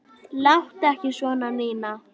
Láttu ekki svona, Nína.